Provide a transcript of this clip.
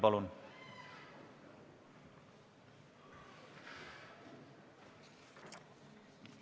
Palun!